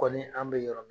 Kɔni an bɛ yɔrɔ min na